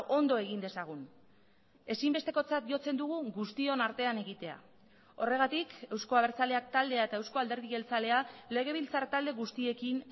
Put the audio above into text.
ondo egin dezagun ezinbestekotzat jotzen dugu guztion artean egitea horregatik euzko abertzaleak taldea eta eusko alderdi jeltzalea legebiltzar talde guztiekin